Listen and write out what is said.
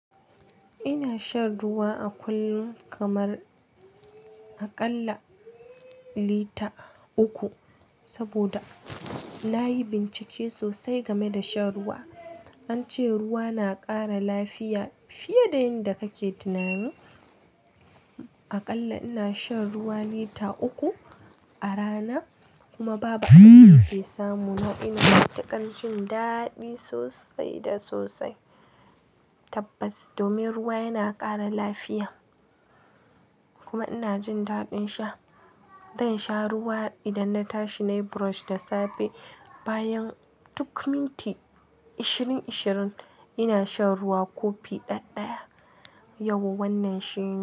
Ina shan ruwa a kullum kamar aƙalla lita uku saboda na yi bincike sosai game da shan ruwa. An ce ruwa na ƙara lafiya fiye da yin da kake tunani Aƙalla ina shan ruwa lita uku a rana kuma babu abin da ke samu na ina taka jin daɗi sosai da sosai. Tabbas, domin ruwa yana ƙara lafiya kuma ina jin daɗin sha. Dan sha ruwa idan na tashi nayi brush da safe bayan tuk minti ashirin ashirin ina shan ruwa kofi ɗaya ɗaya. Yau wannan shine.